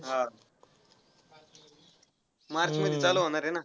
हा. मार्चमध्ये चालू होणार आहे ना?